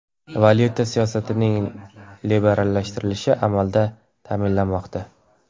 Valyuta siyosatining liberallashtirilishi amalda ta’minlanmoqda.